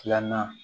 Filanan